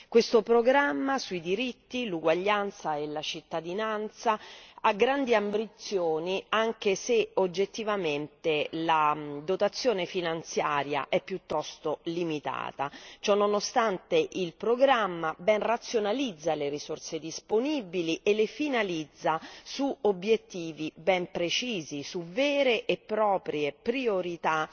Questo programma sui diritti, l'uguaglianza e la cittadinanza ha grandi ambizioni, anche se, oggettivamente, la dotazione finanziaria è piuttosto limitata. Ciononostante, il programma ben razionalizza le risorse disponibili e le finalizza su obiettivi ben precisi, su vere e proprie priorità